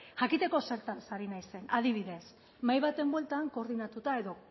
jakiteko zertaz ari naizen adibidez mahai baten bueltan koordinatuta edo